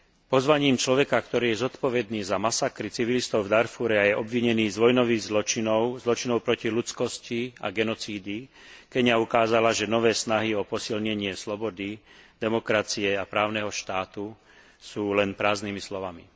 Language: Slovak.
Pozvaním človeka, ktorý je zodpovedný za masakry civilistov v Darfúre a je obvinený z vojnových zločinov, zločinov proti ľudskosti a genocídy, Keňa ukázala, že nové snahy o posilnenie slobody, demokracie a právneho štátu sú len prázdnymi slovami.